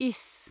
इस !